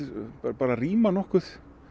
bara ríma